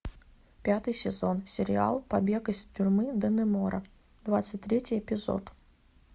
пятый сезон сериал побег из тюрьмы даннемора двадцать третий эпизод